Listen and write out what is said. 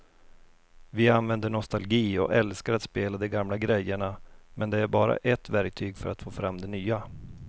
Vi använder nostalgi och älskar att spela de gamla grejerna men det är bara ett verktyg för att få fram det nya.